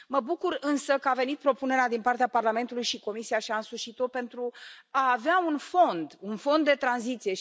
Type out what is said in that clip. Mă bucur însă că a venit propunerea din partea Parlamentului și Comisia și a însușit o, pentru a avea un fond de tranziție.